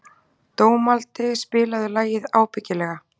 Dómaldi, spilaðu lagið „Ábyggilega“.